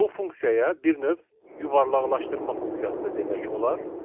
Bu funksiyaya bir növ yuvarlaqlaşdırma funksiyası da demək olar.